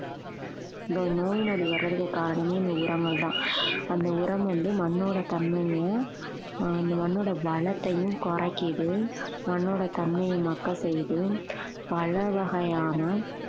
இந்த நோய் நொடி வரதுக்குக் காரணமே இந்த உரங்கள்தான் அந்த உரம் வந்து மண்ணோட தன்மையை ஆஹ் அந்த மண்ணோட வளத்தையும் குறைக்குது மண்ணோட தன்மையை மட்க செய்து பல வகையான